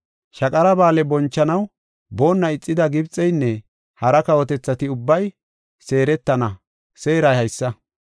Shaqara Ba7aale bonchanaw boonna ixida Gibxeynne hara kawotethati ubbay seeretana seeray haysa.